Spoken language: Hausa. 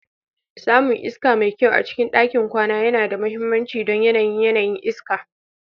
Samun iska mai kyau a cikin ɗakin kwana yana da mahimmanci don yanayin yanayin iska.